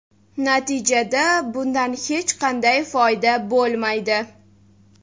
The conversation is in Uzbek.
Natijada bundan hech qanday foyda bo‘lmaydi.